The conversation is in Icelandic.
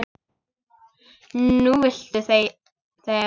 Núna viltu þegja.